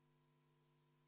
Jaa, lugupeetud juhataja!